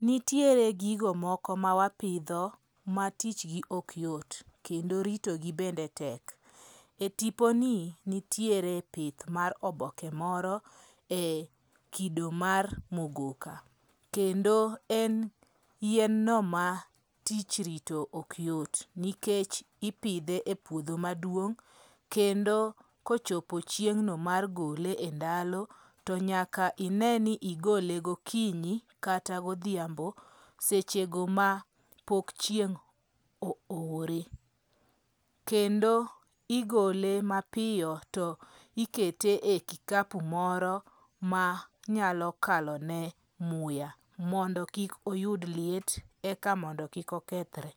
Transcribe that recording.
Nitiere gigo moko mawapidho ma tichgi ok yot kendo ritogi bende tek. E tipo ni nitiere pith mar oboke moro e kido mar mogoka. Kendo en yien no ma tich rito ok yot nikech ipidhe e puodho maduong'. Kendo kochopo chieng'no mar gole e ndalo, to nyaka ine ni igole gokinyi kata godhiambo, sechego ma pok chieng' oore. Kendo igole mapiyo to ikete e kikapu moro ma nyalokalone muya mondo kik oyud liet eka mondo kik okethre.